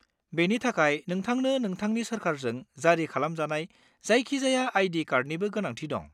बेनि थाखाय नोंथांनो नोंथांनि सोरकारजों जारि खालामजानाय जायखिजाया आई.डि. कार्डनिबो गोनांथि दं।